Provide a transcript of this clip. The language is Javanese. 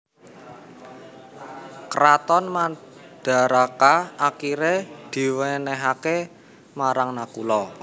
Kraton Mandaraka akiré diwènèhaké marang Nakula